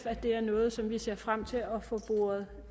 at det er noget som vi ser frem til